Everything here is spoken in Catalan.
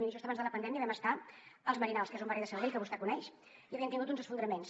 miri just abans de la pandèmia vam estar als merinals que és un barri de sabadell que vostè coneix i havien tingut uns esfondraments